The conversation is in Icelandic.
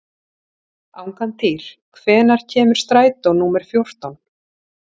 Angantýr, hvenær kemur strætó númer fjórtán?